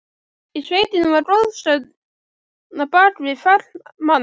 Í sveitinni var goðsögn á bak við hvern mann.